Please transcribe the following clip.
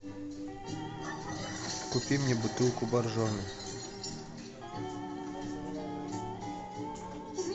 купи мне бутылку боржоми